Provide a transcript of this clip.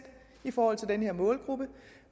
i forhold til den her målgruppe